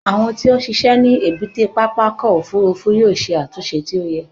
Àwọn tí wọ́n ń ṣiṣẹ́ ní èbúté pápákọ̀ òfúrúfú yóò ṣe àtúnṣe tí ó yẹ.